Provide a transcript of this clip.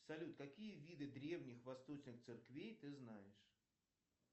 салют какие виды древних восточных церквей ты знаешь